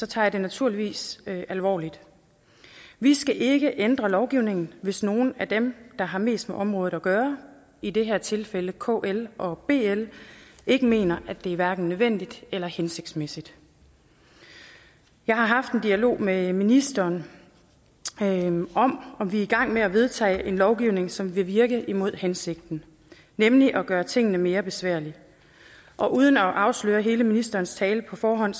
tager jeg den naturligvis alvorligt vi skal ikke ændre lovgivningen hvis nogle af dem der har mest med området at gøre i det her tilfælde kl og bl ikke mener at det hverken er nødvendigt eller hensigtsmæssigt jeg har haft en dialog med ministeren om at vi er i gang med at vedtage lovgivning som vil virke imod hensigten nemlig at gøre tingene mere besværlige og uden at afsløre hele ministerens tale på forhånd